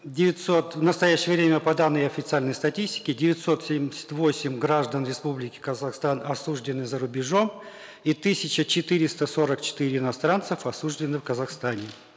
девятьсот в настоящее время по данным официальной статистики девятьсот семьдесят восемь граждан республики казахстан осуждены за рубежом и тысяча четыреста сорок четыре иностранцев осуждены в казахстане